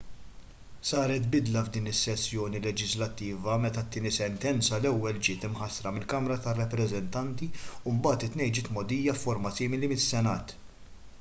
saret bidla f'din is-sessjoni leġislattiva meta t-tieni sentenza l-ewwel ġiet imħassra mill-kamra tar-rappreżentanti u mbagħad it-tnejn ġiet mgħoddija f'forma simili mis-senat